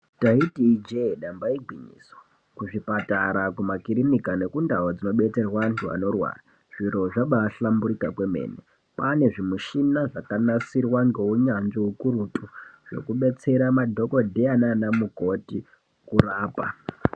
Taiti ijee damba igwinyiso kuzvipatara kumakirinika nekundau dzinobetserwa anthu anorwara zviro zvabaahlamburika kwaane zvimushina zvakanasirwa ngeunyanzvi ukurutu zvekudetsera madhokodheya nana mukoti kurapa.